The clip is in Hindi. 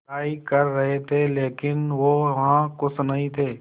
पढ़ाई कर रहे थे लेकिन वो वहां ख़ुश नहीं थे